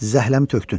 Zəhləmi tökdün.